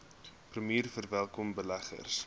premier verwelkom beleggings